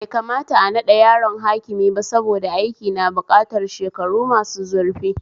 Bai kamata a naɗa yaro hakimi ba saboda aikin na bukatar shekaru masu zurfi